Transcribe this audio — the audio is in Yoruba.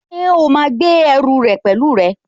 Ṣé o máa gbé ẹrù rẹ pẹ̀lú rẹ?